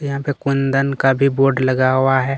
यहाँ पे कुंदन का भी बोर्ड लगा हुआ है।